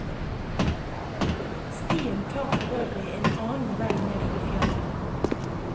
Stien tar forøvrig en annen vei ned fra fjellet.